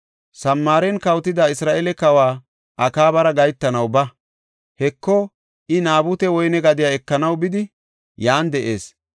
“Samaaren kawotida Isra7eele Kawa Akaabara gahetanaw ba. Heko, I Naabute woyne gadiya ekanaw bidi, yan de7ees.